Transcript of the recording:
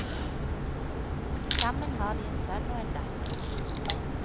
Sammen har de en sønn og en datter.